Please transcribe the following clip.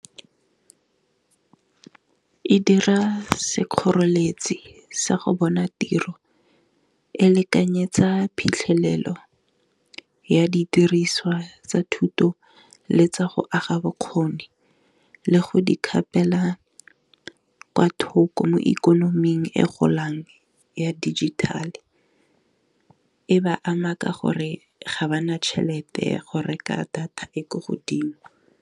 E dira sekgoreletsi sa go bona tiro e lekanyetsa phitlhelelo ya didiriswa tsa thuto le tsa go aga bokgoni, le go di kgapela kwa thoko mo ikonoming e golang ya dijithale, e ba ama ka gore ga ba na tšhelete go reka data e ko godimo.